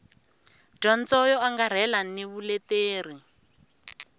dyondzo yo angarhela ni vuleteri